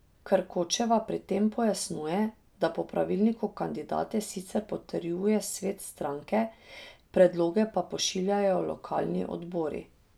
Krkočeva pri tem pojasnjuje, da po pravilniku kandidate sicer potrjuje svet stranke, predloge pa pošiljajo lokalni odbori.